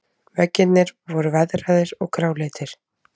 Veggirnir voru veðraðir og gráleitir.